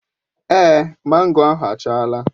Èé, mango ahụ achala.